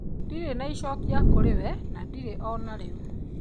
Ndirĩ na icokia kũri we na ndire onariu